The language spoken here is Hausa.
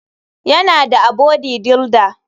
Yana da abody duilder.